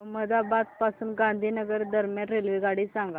अहमदाबाद पासून गांधीनगर दरम्यान रेल्वेगाडी सांगा